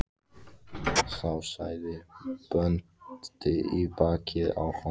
Þá sagði bóndi í bakið á honum